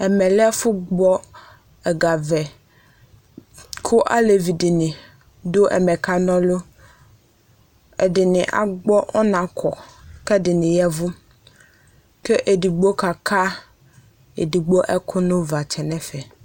ɛmɛ lɛ ɛfʋ gbɔ ɛga vɛ kʋ alɛvi dini dʋ ɛmɛ ka nʋ lʋ ɛdini agbo ɔnakɔ kɛ dini yavʋ ɛdigbo ka ka ɛkʋ nʋ ʋvatsɛ nɛ fɛ